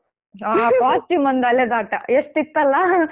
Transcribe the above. ಹಾ costume ಮೊಂದು ಅಲೆದಾಟ ಎಷ್ಟು ಇತ್ತಲ್ಲಾ ?